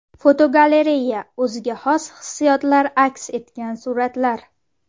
Fotogalereya: O‘ziga xos hissiyotlar aks etgan suratlar.